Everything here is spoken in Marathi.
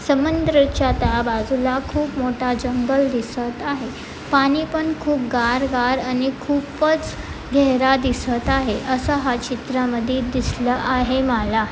समुंद्रच्या त्या बाजूला खूप मोठा जंगल दिसत आहे. पाणी पण खूप गार गार आणि खूपच गेहरा दिसत आहे. आसा हा चित्रा मधी दिसलां आहे माला.